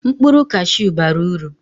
mkpụrụ cashew bara uru